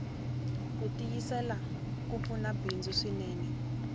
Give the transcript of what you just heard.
kutiyisela kupfuna bindzu swinene